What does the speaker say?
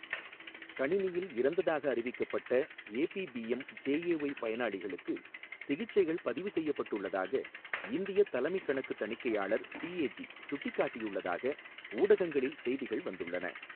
கணினியில் இறந்ததாக அறிவிக்கப்பட்ட ஏபி பிஎம் ஜேஏஒய் பயனாளிகளுக்கு சிகிச்சைகள் பதிவு செய்யப்பட்டுள்ளதாக இந்தியத் தலைமைக் கணக்குத் தணிக்கையாளர் சிஏஜி சுட்டிக்காட்டியுள்ளதாக ஊடகங்களில் செய்திகள் வந்துள்ளன.